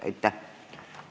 Aitäh!